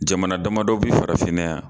Jamana damadɔ bɛ farafinna yan